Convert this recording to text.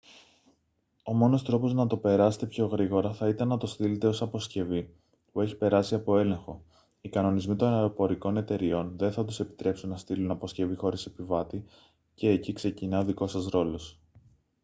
ο μόνος τρόπος να το περάσετε πιο γρήγορα θα ήταν να το στείλετε ως αποσκευή που έχει περάσει από έλεγχο οι κανονισμοί των αεροπορικών εταιρειών δεν θα τους επιτρέψουν να στείλουν αποσκευή χωρίς επιβάτη και εκεί ξεκινά ο δικός σας ρόλος